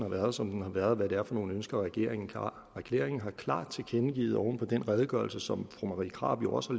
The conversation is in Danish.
har været som den har været og hvad det er for nogle ønsker regeringen har regeringen har klart tilkendegivet oven på den redegørelse som fru marie krarup jo også